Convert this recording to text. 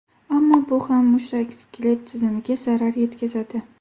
Ammo bu ham mushak-skelet tizimiga zarar yetkazadi.